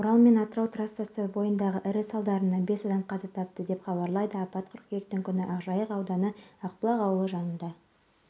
дастархан бас директоры валерий мастовой шағын маркет пен тұрғын үйді қалпына келтіруге млн теңге жұмсалғанын айтты